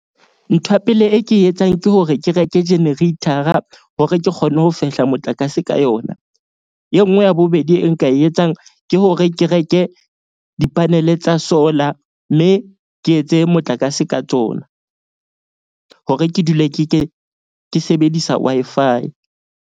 Ntho ya pele e ke e etsang ke hore ke reke generator-a hore ke kgone ho fehla motlakase ka yona. E nngwe ya bobedi e nka e etsang ke hore ke reke di-panel-e tsa solar. Mme ke etse motlakase ka tsona hore ke dule ke sebedisa Wi-Fi.